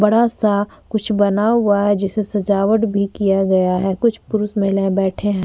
बड़ा सा कुछ बना हुआ है जिसे सजावट भी किया गया है कुछ पुरुष महिलाये बैठे है।